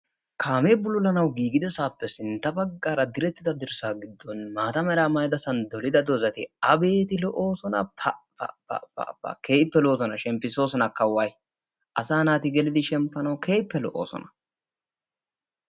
Kaame bululanawu gigidasape sintta baggaara direttida dirssa giddon maataa meera maayida dolida dozati abeeti lo'osona! pa! pa! pa! pa! pa! Keehippe lo'osona; shemppisosonaka way. Asaa naati geelidi shemppanawu keehipe lo'osona.